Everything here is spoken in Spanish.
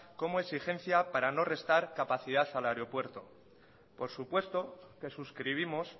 como exigencia para no restar capacidad al aeropuerto por supuesto que suscribimos